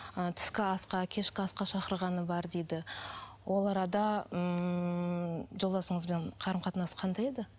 ы түскі асқа кешкі асқа шақырғаны бар дейді ол арада ммм жолдасыңызбен қарым қатынас қандай еді